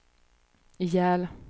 ihjäl